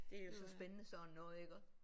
Det er jo så spændende sådan noget iggå